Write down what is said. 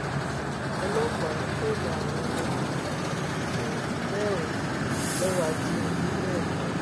ọlọpàá dóòlà àwọn ọmọkùnrin um mẹrin lọwọ ajínigbé lẹkọọ